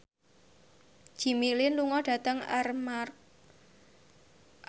Jimmy Lin lunga dhateng Armargh